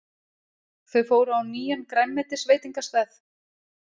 Þau fóru á nýjan grænmetisveitingastað.